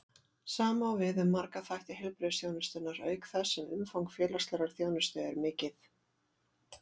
Sama á við um marga þætti heilbrigðisþjónustunnar, auk þess sem umfang félagslegrar þjónustu er mikið.